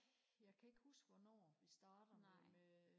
jeg kan ikke huske hvornår vi starter med